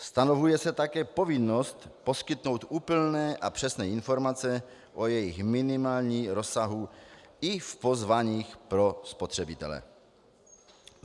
Stanovuje se také povinnost poskytnout úplné a přesné informace o jejich minimálním rozsahu i v pozváních pro spotřebitele.